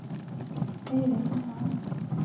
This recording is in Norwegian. Øyvind Engan